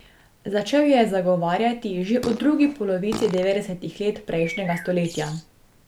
Začel jo je zagovarjati že v drugi polovici devetdesetih let prejšnjega stoletja.